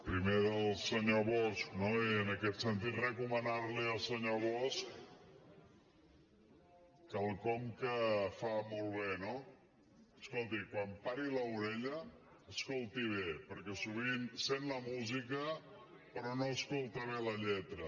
primer del senyor bosch no i en aquest sentit recomanar li al senyor bosch quelcom que fa molt bé no escolti quan pari l’orella escolti bé perquè sovint sent la música però no escolta bé la lletra